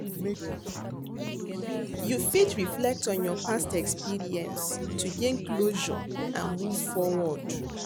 You fit reflect on your past experience to gain closure and move forward.